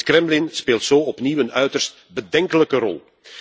Het Kremlin speelt zo opnieuw een uiterst bedenkelijke rol.